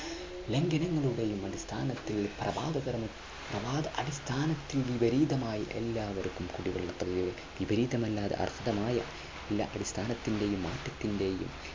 ലംഘനങ്ങളെയും അടിസ്ഥാനത്തിന് വിപരീതമായി എല്ലാവർക്കും കുടിവെള്ള അടിസ്ഥാനത്തിന്റെയും